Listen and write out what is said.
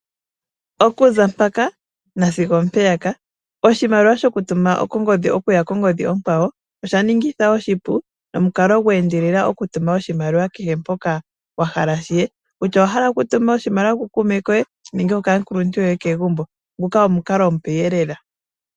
Oku za mpaka nasigo oompeyaka, oshimaliwa shokutuma kongodhi okuya kongodhi onkwawo osha ningitha oshipu nomukalo gwe endelela okutuma oshimaliwa kehe mpoka wa hala shi ye, kutya owa hala okutuma oshimaliwa ku kuume koye nenge okaakuluntu yoye kegumbo nguka omukalo omupe lela.